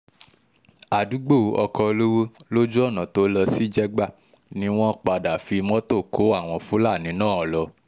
àdúgbò ọkọ olówó lójú ọ̀nà tó lọ sí jégbà ni wọ́n padà fi mọ́tò kó àwọn fúlàní náà lọ